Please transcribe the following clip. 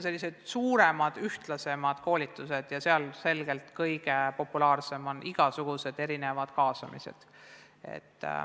Peale selle on olemas suuremad koolitused ja selgelt kõige populaarsemad on igasugused kaasamised.